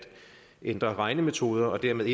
ændre regnemetoder og dermed